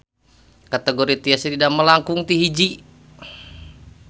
Kategori tiasa didamel langkung ti hiji.